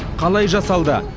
қалай жасалды